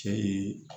Cɛ ye